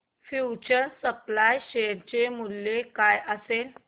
future supply share चे मूल्य काय असेल